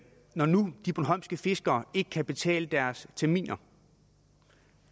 når nu de bornholmske fiskere ikke kan betale deres terminer